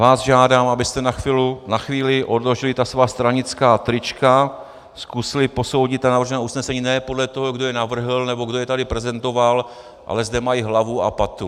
Vás žádám, abyste na chvíli odložili ta svá stranická trička, zkusili posoudit ta navržená usnesení ne podle toho, kdo je navrhl nebo kdo je tady prezentoval, ale zda mají hlavu a patu.